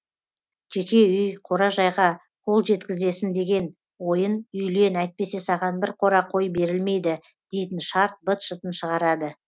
жеке үй қора жайға қол жеткізесін деген ойын үйлен әйтпесе саған бір қора қой берілмейді дейтін шарт быт шытын шығарады